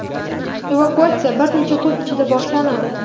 evakuatsiya bir necha kun ichida boshlanadi.